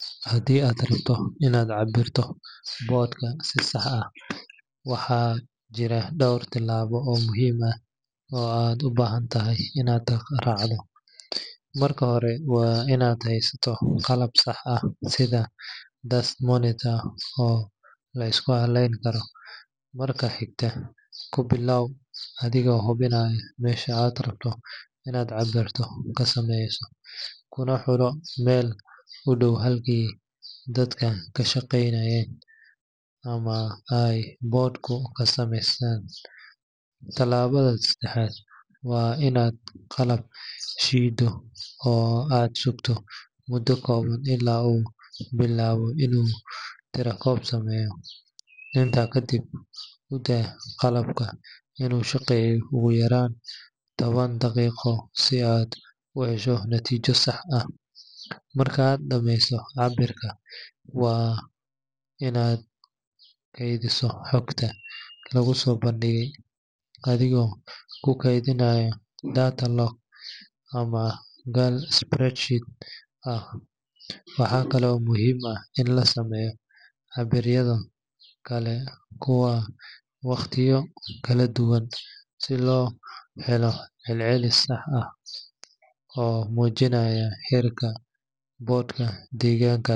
Haddii aad rabto inaad cabbirto boodhka si sax ah, waxaa jira dhowr tilaabo oo muhiim ah oo aad u baahan tahay inaad raacdo. Marka hore, waa inaad haysataa qalab sax ah sida dust monitor oo la isku halleyn karo. Marka xigta, ku bilow adigoo hubinaya meesha aad rabto inaad cabbirka ka sameyso, kuna xulo meel u dhow halkii dadku ka shaqeynayeen ama ay boodhku ka samaysmayaan. Tallaabada saddexaad waa inaad qalabka shiddo oo aad sugto muddo kooban ilaa uu bilaabo inuu tirakoob sameeyo. Intaas kadib, u daa qalabka inuu shaqeeyo ugu yaraan toban daqiiqo si aad u hesho natiijo sax ah. Marka aad dhamayso cabbirka, waa inaad kaydisaa xogta laguu soo bandhigay, adigoo ku keydinaya data log ama gal spreadsheet ah. Waxa kale oo muhiim ah in la sameeyo cabbiraadyo kala duwan waqtiyo kala duwan si loo helo celcelis sax ah oo muujinaya heerka boodhka deegaankaas.